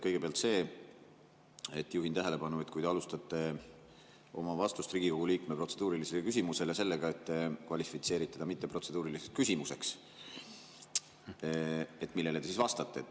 Kõigepealt juhin tähelepanu, et kui te alustate Riigikogu liikme protseduurilisele küsimusele vastates sellega, et see pole kvalifitseeritav protseduuriliseks küsimuseks, siis millele te vastate.